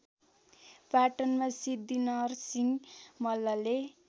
पाटनमा सिद्धिनरसिहं मल्लले